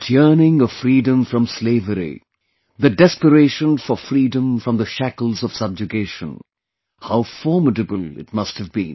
That yearning of freedom from slavery, the desperation for freedom from the shackles of subjugation how formidable it must have been